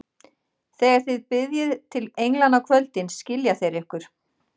Þegar þið biðjið til englanna á kvöldin, skilja þeir ykkur.